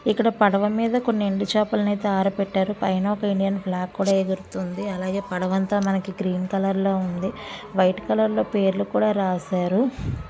ఇక్కడ పడవ మీద కొన్ని ఎండు చేపలను అయితే అరబెట్టారు పైన. ఒక ఇండియన్ ఫ్లాగ్ కూడా ఎగురుతుంది. అలాగే పడవ అంత మనకి గ్రీన్ కలర్ లో ఉంది. వైట్ కలర్ లో పేర్లు కూడా రాసారు.